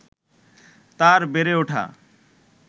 তাঁর বেড়ে ওঠা